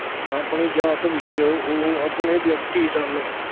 ਆਪਣੀ ਜਾਤ ਵਿੱਚ ਉਹ ਆਪਣੇ ਵਿਅਕਤੀ ਸਨ।